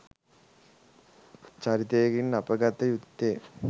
චරිතයකින් අප ගත යුත්තේ